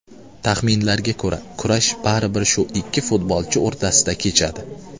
Taxminlarga ko‘ra, kurash baribir shu ikki futbolchi o‘rtasida kechadi.